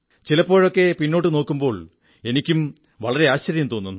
ചിലപ്പോഴൊക്കെ പിന്നോട്ടു നോക്കുമ്പോൾ എനിക്കും വളരെ ആശ്ചര്യം തോന്നുന്നു